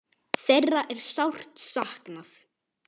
Þeirra er sárt saknað.